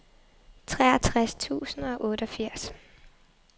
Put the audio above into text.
treogtres tusind og otteogfirs